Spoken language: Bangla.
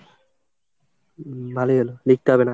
ভালোই হলো লিখতে হবে না।